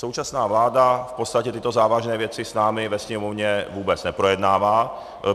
Současná vláda v podstatě tyto závažné věci s námi ve Sněmovně vůbec neprojednává.